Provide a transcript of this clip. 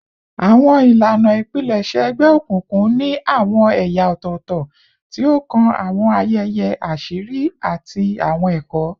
Awọn ilana ipilẹṣẹ egbeokunkun ni awọn ẹya ọtọtọ ti o kan awọn ayẹyẹ aṣiri ati awọn ẹkọ